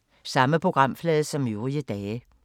Samme programflade som øvrige dage